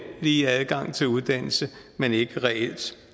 lige adgang til uddannelse men ikke reelt